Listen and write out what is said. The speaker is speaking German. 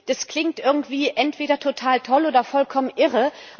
Das klingt irgendwie entweder total toll oder vollkommen irre.